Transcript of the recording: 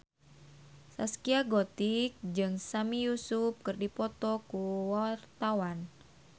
Zaskia Gotik jeung Sami Yusuf keur dipoto ku wartawan